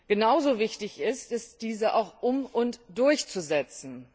Genauso wichtig ist es, diese auch um und durchzusetzen.